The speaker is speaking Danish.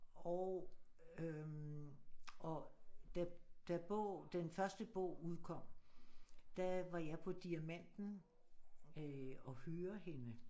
Og øh og da da bogen den første bog udkom der var jeg på Diamanten øh og høre hende